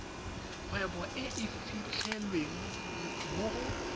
kgwebo e fitlhelwang mo go